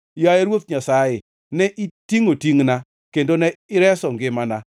Yaye Ruoth Nyasaye ne itingʼo tingʼna, kendo ne ireso ngimana.